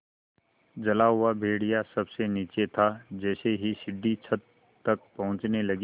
जला हुआ भेड़िया सबसे नीचे था जैसे ही सीढ़ी छत तक पहुँचने लगी